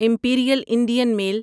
Imperial Indian mile